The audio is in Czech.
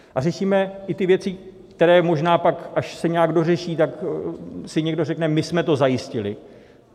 A řešíme i ty věci, které možná pak, až se nějak dořeší, tak si někdo řekne, my jsme to zajistili.